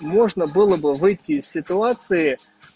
можно было бы выйти из ситуации